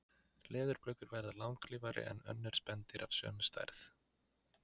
Leðurblökur verða langlífari en önnur spendýr af sömu stærð.